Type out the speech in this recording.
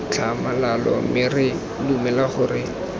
tlhamalalo mme re dumela gore